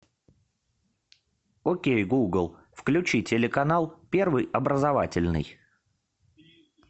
окей гугл включи телеканал первый образовательный